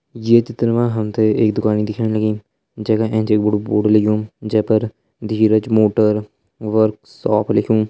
ये चित्र मा हम ते एक दुकानि दिखेण लगीं जैका एंच एक बड़ु बोर्ड लग्युं जै पर धीरज मोटर वर्कशॉप लिख्युं।